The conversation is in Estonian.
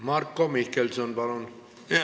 Marko Mihkelson, palun!